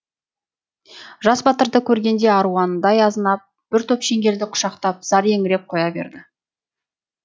жас батырды көргенде аруанадай азынап бір топ шеңгелді құшақтап зар еңіреп қоя берді